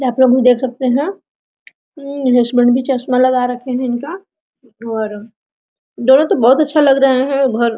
आपलोग भी देख सकते हैं ये हस्बैंड भी चश्मा लगा रखे है इनका और दोनों तो बहुत अच्छा लग रहे है और --